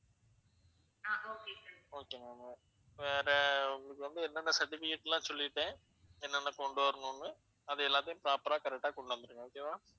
okay ma'am, okay வேற உங்களுக்கு என்னென்ன certificate லாம் சொல்லிட்டேன் என்னென்ன கொண்டு வரணும்னு அது எல்லாத்தையும், proper ஆ, correct ஆ கொண்டுவந்துருங்க.